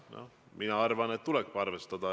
Noh, mina arvan, et tuleb arvestada.